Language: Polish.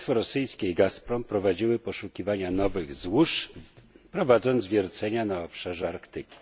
Państwo rosyjskie i Gazprom prowadziły poszukiwania nowych złóż, prowadząc wiercenia na obszarze Arktyki.